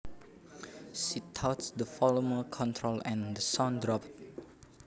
She touched the volume control and the sound dropped